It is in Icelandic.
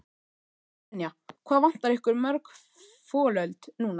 Brynja: Hvað vantar ykkur mörg folöld núna?